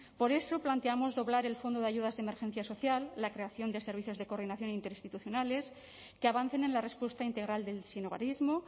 por eso planteamos doblar el fondo de ayudas de emergencia social la creación de servicios de coordinación interinstitucionales que avancen en la respuesta integral del sinhogarismo